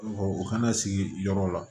u kana sigi yɔrɔ la